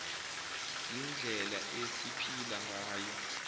yindlela esiphila ngayo